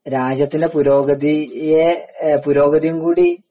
രാജ്യത്തിൻറെ പുരോഗതിയെ പുരോഗതിയും കൂടി